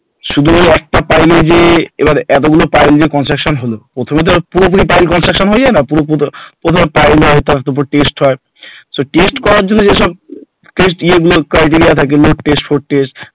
শুধু একটা pile যে এবার এতগুলো pile এর যে construction হল প্রথমেই তো আর পুরোপুরি pile construction হয়ে যায়না, প্রথমে piling হয় তারপর test হয় করার জন্য যেসব test criteria থাকে test for test